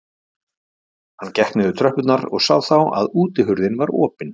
Hann gekk niður tröppurnar og sá þá að útihurðin var opin.